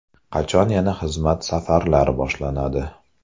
Qachon yana xizmat safarlari boshlanadi?